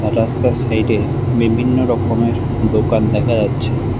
রাস্তার সাইডে বিভিন্ন রকমের দোকান দেখা যাচ্ছে।